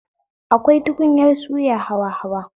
Akwai tukunyar suya hawa hawa